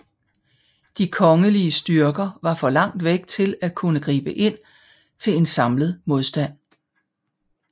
De kongelige styrker var for langt væk til at kunne gribe ind til en samlet modstand